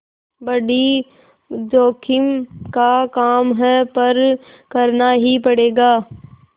बड़ी जोखिम का काम है पर करना ही पड़ेगा